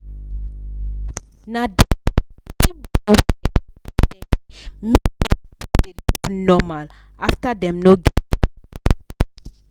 na th normal after dem